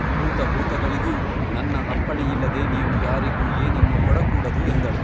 ಭೂತಭೂತಗಳಿಗೂ ನನ್ನ ಅಪ್ಪಣೆಯಿಲ್ಲದೆ ನೀವು ಯಾರಿಗೂ ಏನನ್ನೂ ಕೊಡಕೂಡದು ಎಂದಳು.